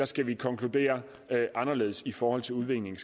skal konkluderes anderledes i forhold til udvinding